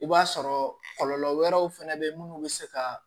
I b'a sɔrɔ kɔlɔlɔ wɛrɛw fɛnɛ bɛ munnu bɛ se ka